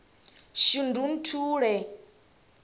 shundunthule